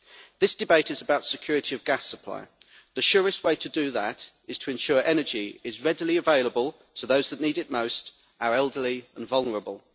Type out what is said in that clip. This debate is about security of gas supply. The surest way to do that is to ensure energy is readily available to those that need it most our elderly and vulnerable.